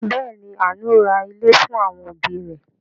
Bẹẹ̀ ni, Àánú ra ilé fún àwọn òbí rẹ̀.